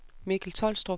Mikkel Tolstrup